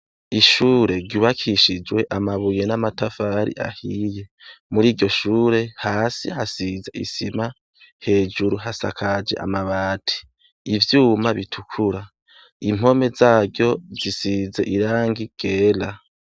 Ishure ryubakishijwe amabuye n'amatafari ahiye. Muriryo shure hasi hasize isima hejuru hasakaje amabati, ivyuma bitukura, impome zaryo zisize irangi ryera.